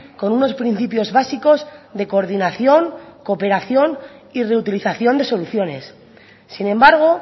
con unos principios básicos de coordinación cooperación y reutilización de soluciones sin embargo